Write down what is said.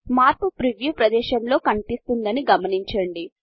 మార్పు ప్రీవ్యూ ప్రదేశములో కనిపిస్తుందని గమనించండి